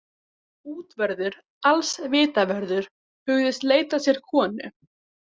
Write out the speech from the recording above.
Útvörður alls Vitavörður hugðist leita sér konu.